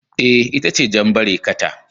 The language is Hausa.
Eh, ita ce jan barekata